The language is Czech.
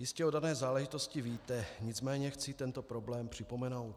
Jistě o dané záležitosti víte, nicméně chci tento problém připomenout.